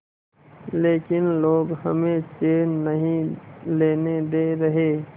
लेकिन लोग हमें चैन नहीं लेने दे रहे